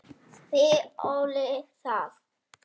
Því olli það